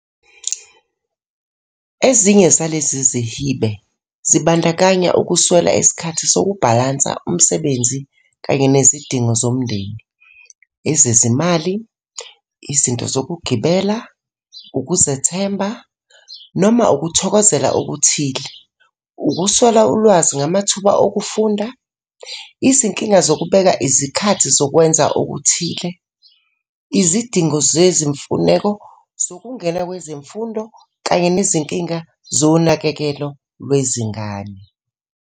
Ezinye zalezi zihibe, zibandakanya ukuswela isikhathi sokubhalansa umsebenzi kanye nezidingo zomndeni, ezezimali, izinto zokugibela, ukuzethemba, noma ukuthokozela okuthile, ukuswela ulwazi ngamathuba okufunda, izinkinga zokubeka izikhathi zokwenza okuthile, izidingo zezimfuneko zokungena kwezemfundo kanye nezinkinga zonakekelo lwezingane.